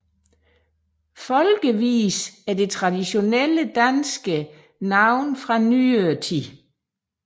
Folkevise er det traditionelle danske navn fra nyere tid